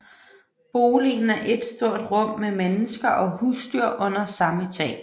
Boligen er ét stort rum med mennesker og husdyr under samme tag